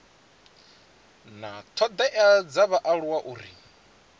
na thodea dza vhaaluwa uri